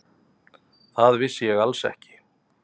Það vissi ég alls ekki.